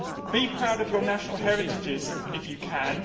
Be proud of your national heritages, if you can.